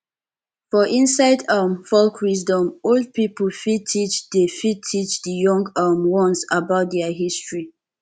for inside um folk wisdom old pipo fit teach di fit teach di young um ones about their history